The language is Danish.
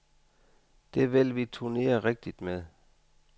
Det vil vi turnere rigtigt med.